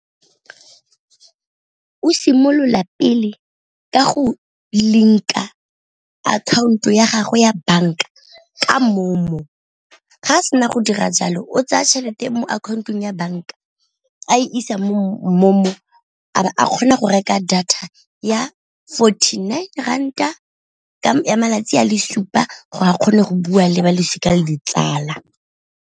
O simolola pele ka go link-a akhaonto ya gagwe ya banka ka MoMo, ga a sena go dira jalo o tseya tšhelete mo account-ong ya banka a isa mo MoMo a ba a kgona go reka data ya fourty nine ranta ya malatsi a le supa gore a kgone go bua le ba losika le ditsala.